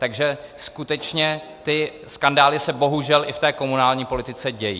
Takže skutečně ty skandály se bohužel i v té komunální politice dějí.